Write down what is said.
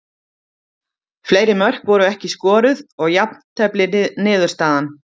Fleiri mörk voru ekki skoruð og jafntefli niðurstaðan.